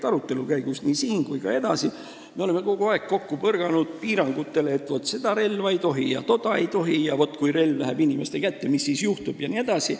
Arutelu käigus nii siin kui ka edaspidi oleme me kogu aeg põrganud piirangutele, et seda ja toda relva ei tohi kasutada, kui relv läheb inimeste kätte, mis siis juhtub jne.